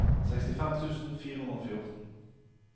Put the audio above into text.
sekstifem tusen fire hundre og fjorten